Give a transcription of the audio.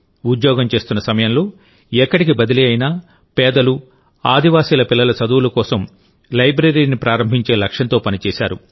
ఉద్యోగం చేస్తున్న సమయంలో ఎక్కడికి బదిలీ అయినా పేదలు గిరిజనుల పిల్లల చదువుల కోసం లైబ్రరీని ప్రారంభించే లక్ష్యంతో పనిచేశారు